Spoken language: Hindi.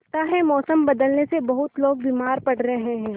लगता है मौसम बदलने से बहुत लोग बीमार पड़ रहे हैं